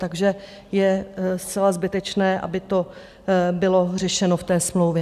Takže je zcela zbytečné, aby to bylo řešeno v té smlouvě.